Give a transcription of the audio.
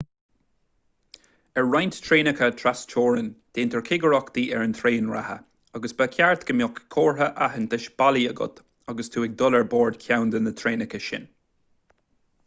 ar roinnt traenacha trasteorann déantar cigireachtaí ar an traein reatha agus ba cheart go mbeadh comhartha aitheantais bailí agat agus tú ag dul ar bord ceann de na traenacha sin